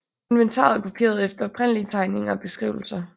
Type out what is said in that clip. Inventaret er kopieret efter oprindelige tegninger og beskrivelser